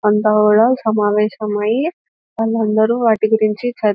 అంత గూడ సమావేశమై వాళ్ళందరూ వాటి గురించి చ --